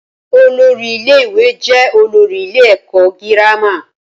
Olórí ilé ìwé jẹ́ olórí ilé èkọ́ girama